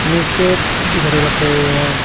नीचे एक दो घड़ी रख रही है।